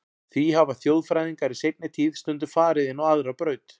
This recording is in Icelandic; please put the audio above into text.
Því hafa þjóðfræðingar í seinni tíð stundum farið inn á aðra braut.